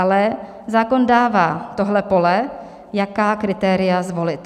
Ale zákon dává tohle pole, jaká kritéria zvolit.